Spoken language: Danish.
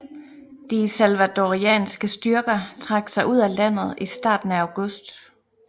De salvadorianske styrker trak sig ud af landet i starten af august